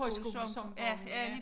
Højskolesangbogen ja